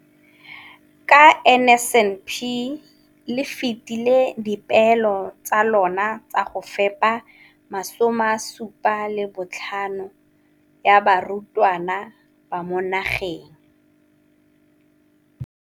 Ka NSNP le fetile dipeelo tsa lona tsa go fepa masome a supa le botlhano a diperesente ya barutwana ba mo nageng.